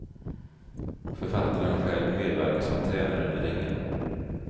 Författaren själv medverkar som tränaren i ringen.